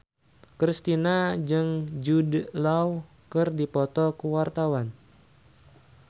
Kristina jeung Jude Law keur dipoto ku wartawan